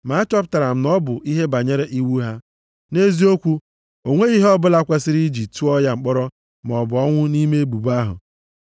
Ma achọpụtara m na ọ bụ ihe banyere iwu ha. Nʼeziokwu, o nweghị ihe ọbụla kwesiri iji tụọ ya mkpọrọ maọbụ ọnwụ nʼime ebubo ahụ.